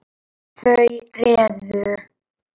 Þau réðu.